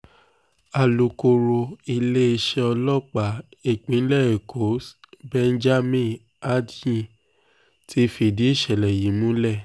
alukoro iléeṣẹ́ ọlọ́pàá ìpínlẹ̀ èkó s benjamin hondyin ti fìdí ìṣẹ̀lẹ̀ yìí múlẹ̀